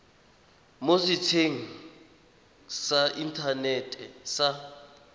mo setsheng sa inthanete sa